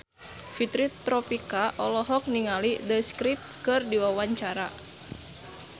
Fitri Tropika olohok ningali The Script keur diwawancara